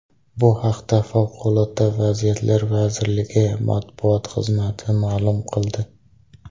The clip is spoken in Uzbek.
Bu haqda Favqulodda vaziyatlar vazirligi matbuot xizmati ma’lum qildi .